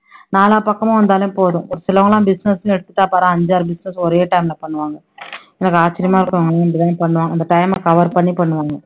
நாலா பக்கமும் வந்தாலே போதும் ஒருத்தவங்கலாம் business னு எடுத்துட்டா பாரேன் அஞ்சாறு business ஒரே time ல பண்ணுவாங்க எனக்கு ஆச்சரியமா இருக்கும் அவங்க இப்படி தானே பண்ணுவாங்க அந்த time அ cover பண்ணி பண்ணுவாங்க